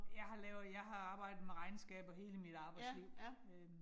Jeg har lavet, jeg har arbejdet med regnskaber hele mit arbejdsliv øh